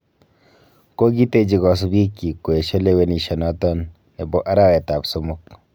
Kooiiteechi kosiibikching' koesio lewenishionoton nebo arawet ab somok.